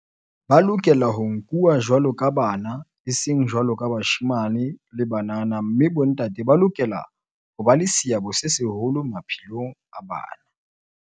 Ba lokela ho nkuwa jwaloka bana, eseng jwaloka bashemane le banana mme bontate ba lokela ho ba le seabo se seholo maphelong a bana.